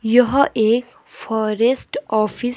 यह एक forest office --